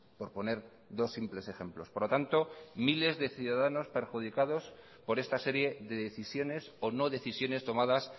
por poner dos simples ejemplos por lo tanto miles de ciudadanos perjudicados por esta serie de decisiones o no decisiones tomadas